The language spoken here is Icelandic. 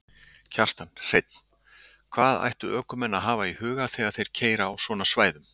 Kjartan Hreinn: Hvað ættu ökumenn að hafa í huga þegar þeir keyra á svona svæðum?